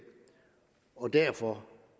og derfor